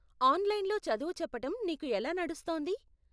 ఆన్లైన్లో చదువు చెప్పటం నీకు ఎలా నడుస్తోంది?